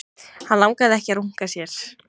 Hann langaði ekki að runka sér.